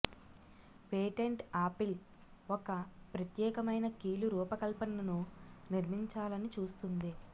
patent Apple ఒక ప్రత్యేకమైన కీలు రూపకల్పనను నిర్మించాలని చూస్తుంది